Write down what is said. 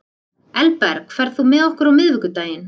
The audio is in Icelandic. Elberg, ferð þú með okkur á miðvikudaginn?